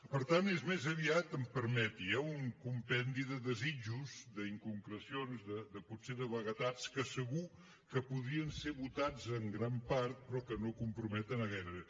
per tant és més aviat em permeti eh un compendi de desitjos d’inconcrecions potser de vaguetats que segur que podrien ser votats en gran part però que no comprometen a gairebé